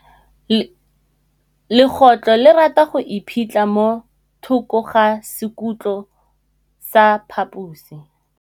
Legôtlô le rata go iphitlha mo thokô ga sekhutlo sa phaposi.